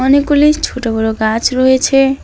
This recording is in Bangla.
অনেকগুলি ছোট বড় গাছ রয়েছে।